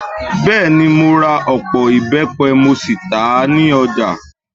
Bẹ́ẹ̀ ni, mo ra ọ̀pọ̀ ìbẹ́pẹ mo sì tà á ní ọjà.